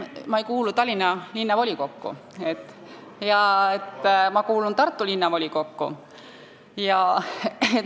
Ma ei kuulu Tallinna Linnavolikokku, ma kuulun Tartu Linnavolikokku.